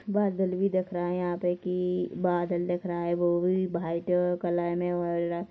बादल भी दिख रहा है यहाँ पे की बादल दिख रहा है वो भी वाइट कलर में और--